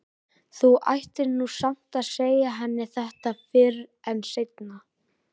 Þú ættir nú samt að segja henni þetta fyrr en seinna.